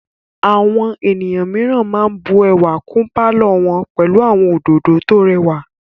Àwọn ènìyàn mìíràn máa bù ẹwà kún pálọ̀ wọn pẹlú àwọn òdòdó tó rẹwà.